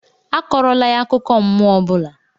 Akọrọla ya akụkọ mmụọ ọ bụla!